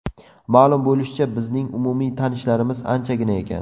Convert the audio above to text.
Ma’lum bo‘lishicha, bizning umumiy tanishlarimiz anchagina ekan.